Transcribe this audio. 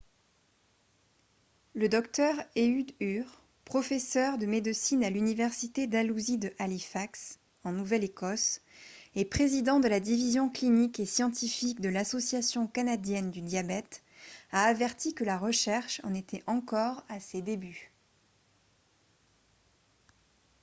le dr ehud ur professeur de médecine à l'université dalhousie de halifax nouvelle-écosse et président de la division clinique et scientifique de l'association canadienne du diabète a averti que la recherche en était encore à ses débuts